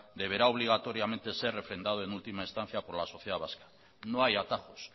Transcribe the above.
deberá obligatoriamente ser refrendado en última estancia por la sociedad vasca no hay atajos